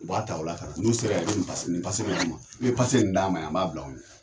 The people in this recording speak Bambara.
U b'a ta u la ka na n'u sera yan i bɛ nin nin bɛ d'u ma i bɛ d'a ma yan n b'a bila o ɲɛ.